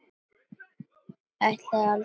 Ég ætlaði aldrei, sko, eða.